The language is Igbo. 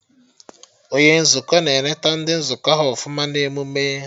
Onye Nzukọ na eneta ndị nzukọ ha ọfụma na emụme